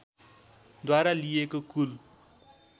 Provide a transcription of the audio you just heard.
द्वारा लिइएको कुल